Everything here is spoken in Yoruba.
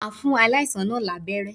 Màá fún aláìsàn náà lábẹ́ré